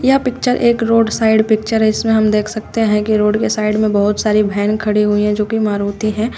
यह पिक्चर एक road side picture है इसमें हम देख सकते हैं कि रोड के साइड में बहुत सारी भैन खड़ी हुई हैं जो कि मारुति हैं।